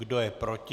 Kdo je proti?